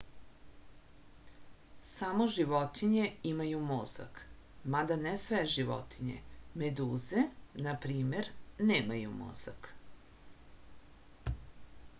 само животиње имају мозак мада не све животиње; медузе на пример немају мозак